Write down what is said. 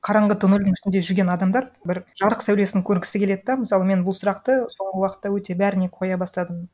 қараңғы тоннельдің ішінде жүрген адамдар бір жарық сәулесін көргісі келеді да мысалы мен бұл сұрақты соңғы уақытта өте бәріне қоя бастадым